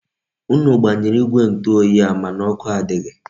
Unu gbanyere igwe ntu oyi a, mana oku adighi.